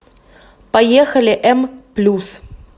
поехали м плюс